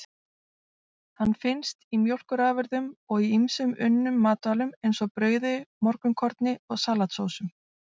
Hann finnst í mjólkurafurðum og í ýmsum unnum matvælum, eins og brauði, morgunkorni og salatsósum.